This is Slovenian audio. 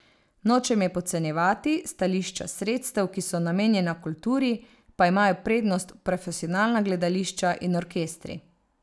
Nočem je podcenjevati, s stališča sredstev, ki so namenjena kulturi, pa imajo prednost profesionalna gledališča in orkestri.